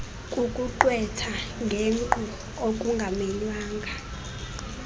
kukuqwetha ngenkqu okungamenywanga